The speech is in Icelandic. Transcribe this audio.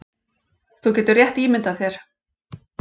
Þú getur rétt ímyndað þér